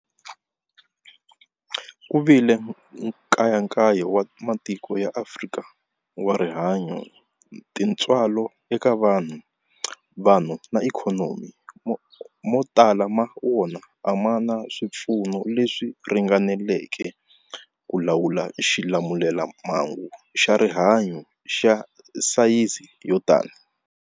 Ku vile nkayakayo wa matiko ya Afrika wa rihanyu, tintswalo eka vanhu, vanhu na ikhonomi, mo tala ma wona a ma na swipfuno leswi ringaneleke ku lawula xilamulelamhangu xa rihanyu xa sayizi yo tani.